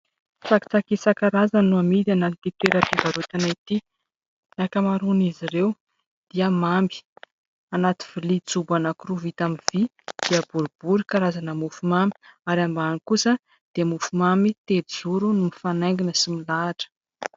Tsakitsaky isan-karazany no amidy any amin'ity toeram-pivarotana ity. Ny ankamaroan'izy ireo dia mamy. Anaty vilia jobo anankiroa vita amin'ny vy dia bodibory karazana mofo mamy ary ambany kosa dia mofomamy telozoro no mifanaingina sy milahatra.